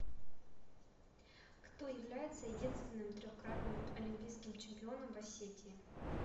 кто является единственным трехкратным олимпийским чемпионом в осетии